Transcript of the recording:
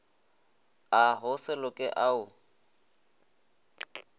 a go se loke ao